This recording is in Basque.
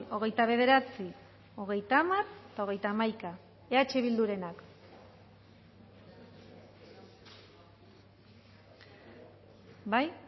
hogeita bederatzi hogeita hamar eta hogeita hamaika eh bildurenak bai